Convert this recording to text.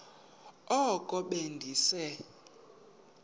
oko be ndise